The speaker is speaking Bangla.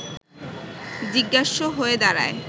জিজ্ঞাস্য হয়ে দাঁড়ায়